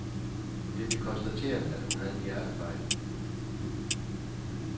Det blev konstateret, at hun havde en hjertefejl.